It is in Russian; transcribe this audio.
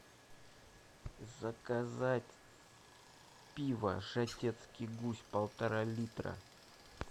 заказать пиво жатецкий гусь полтора литра